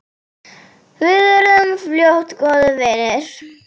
Við urðum fljótt góðir vinir.